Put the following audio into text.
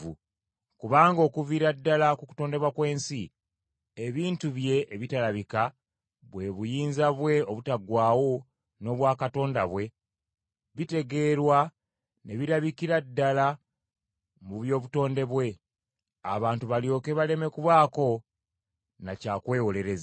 Kubanga okuviira ddala ku kutondebwa kw’ensi, ebintu bye ebitalabika, bwe buyinza bwe obutaggwaawo n’obwa Katonda bwe, bitegeerwa ne birabikira ddala mu by’obutonde bwe, abantu balyoke baleme kubaako na kya kwewolereza.